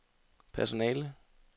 personale